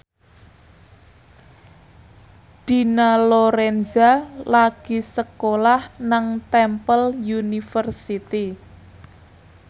Dina Lorenza lagi sekolah nang Temple University